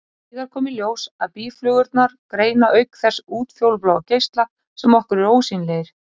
Síðar kom í ljós að býflugurnar greina auk þess útfjólubláa geisla, sem okkur eru ósýnilegir.